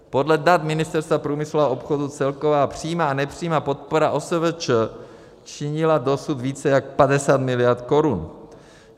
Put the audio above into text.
Podle dat Ministerstva průmyslu a obchodu celková přímá a nepřímá podpora OSVČ činila dosud více jak 50 miliard korun.